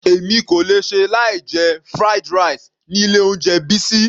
Èmi kò lè ṣe láì jẹ fried rice ni ilé oúnjẹ Bisi.